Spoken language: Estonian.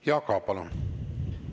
Jaak Aab, palun!